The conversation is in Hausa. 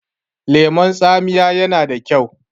lemon taamiya yana da kyau